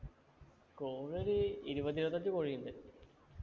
കോഴി ഒരു ഇരുപത് ഇരുപത്തിയഞ്ചു കോഴി ഉണ്ട്